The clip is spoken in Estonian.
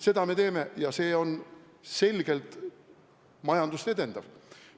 Seda me teeme ja see on selgelt majandust edendav.